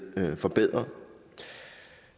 forbedret